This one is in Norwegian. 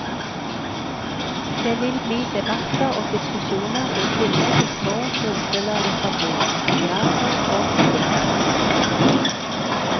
Det vil bli debatter og diskusjoner i tillegg til små munnfuller litteratur, teater og musikk.